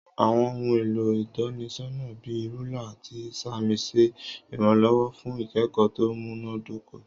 Àwon ohun èlò ìtọ́nisọ́nà bi rúlà àti ìsàmì ṣe iranlọwọ fún ikẹkọ tó múná dóko